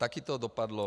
Také to dopadlo.